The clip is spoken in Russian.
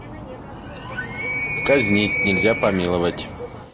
казнить нельзя помиловать